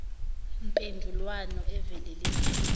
mpendulwano evule lekile